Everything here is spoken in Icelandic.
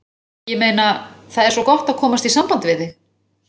Ég meina. það er svo gott að komast í samband við þig.